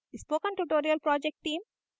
spoken tutorial project team